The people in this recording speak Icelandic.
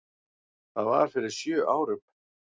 Það var fyrir sjö árum.